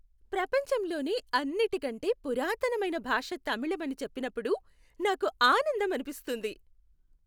ప్రపంచంలోనే అన్నిటికంటే పురాతనమైన భాష తమిళం అని చెప్పినప్పుడు నాకు ఆనందం అనిపిస్తుంది.